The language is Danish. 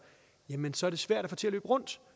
jamen så er det svært at få det til at løbe rundt